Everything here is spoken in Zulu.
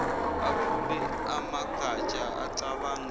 aphule amagatsha acabange